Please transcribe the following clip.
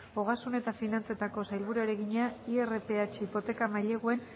ogasun eta finantzetako sailburuari egina irph hipoteka maileguen